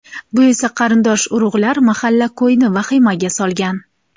Bu esa qarindosh-urug‘lar, mahalla-ko‘yni vahimaga solgan.